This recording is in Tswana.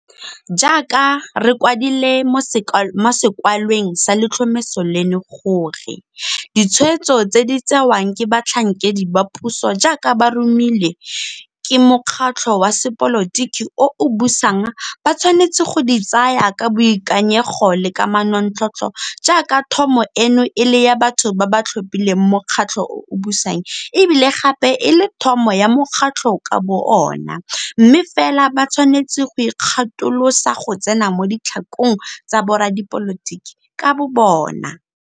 Jaaka re kwadile mo sekwalweng sa letlhomeso leno gore, ditshwetso tse di tsewang ke batlhankedi ba puso jaaka ba romilwe ke mokgatlho wa sepolotiki o o busang ba tshwanetse go di tsaya ka boikanyego le ka manontlhotlho jaaka thomo eno e le ya batho ba ba tlhophileng mokgatlho o o busang e bile gape e le thomo ya mokgatlho ka bo ona, mme fela ba tshwanetse go ikgatolosa go tsena mo ditlhakong tsa boradipolotiki ka bobona.